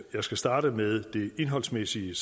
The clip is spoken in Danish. skal starte med det indholdsmæssige